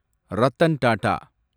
Ratan Tata